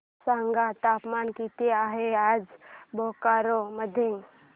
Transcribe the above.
सांगा तापमान किती आहे आज बोकारो मध्ये